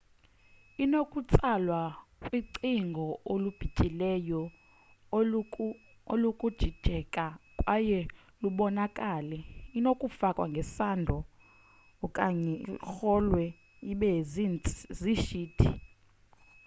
inokutsalwa kwicingo olubityileyo olunokujijeka kwaye lubonakale inokufakwa ngesando okanye irolwe ibe ziishiti